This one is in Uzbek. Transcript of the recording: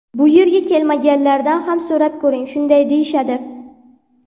Bu yerga kelmaganlardan ham so‘rab ko‘ring, shunday deyishadi.